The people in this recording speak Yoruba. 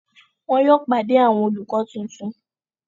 Wọn yóò pàdé àwọn olùkọ tuntun.